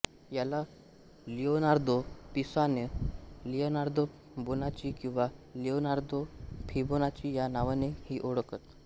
याला Leonardo Pisano Leonardo Bonacci किंवा Leonardo Fibonacci या नावाने ही ओळखत